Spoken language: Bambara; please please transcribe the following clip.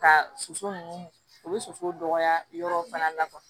Ka soso ninnu u bɛ soso dɔgɔya yɔrɔ fana la